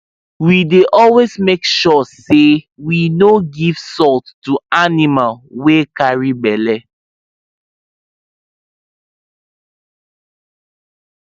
we dey always make sure say we no give salt to animal wy carry belle